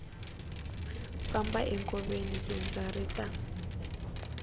famba enkoveni lundza ri ta